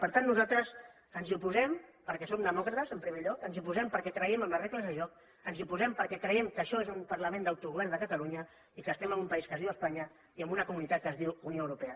per tant nosaltres ens hi oposem perquè som demòcrates en primer lloc ens hi oposem perquè creiem en les regles de joc ens hi oposem perquè creiem que això és un parlament d’autogovern de catalunya i que estem en un país que es diu espanya i en una comunitat que es diu unió europea